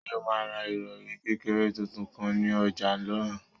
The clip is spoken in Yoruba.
Ṣé o máa ra ìrọ̀rì kékeré tuntun kan ní ọjà náà?